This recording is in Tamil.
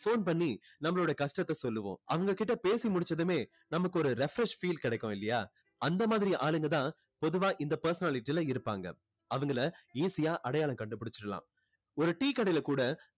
phone பண்ணி நம்மளோட கஷ்டத்தை சொல்லுவோம் அவங்க கிட்ட பேசி முடிச்சதுமே நமக்கு ஒரு refresh feel கிடைக்கும் இல்லையா அந்த மாதிரி ஆளுங்க தான் பொதுவா இந்த personality ல இருப்பாங்க அவங்களை easy ஆ அடையாளம் கண்டு புடிச்சுடலாம் ஒரு tea கடையில கூட